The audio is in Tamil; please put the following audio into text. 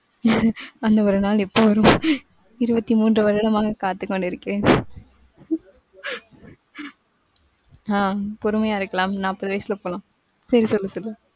அந்த ஒரு நாள் எப்ப வரும் இருபத்தி மூன்று வருடமாக காத்துக்கொண்டு இருக்கிறேன் ஆஹ் பொறுமையா இருக்கலாம் நாப்பது வயசுல போகலாம். சரி சொல்லு, சொல்லு.